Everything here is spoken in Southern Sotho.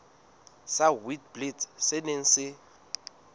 sa witblits se neng se